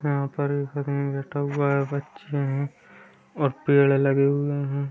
यहाँ पर हुआ हैं और बच्चे हैं और पेड़ लगे हुए हैं।